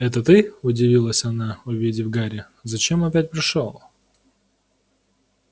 это ты удивилась она увидев гарри зачем опять пришёл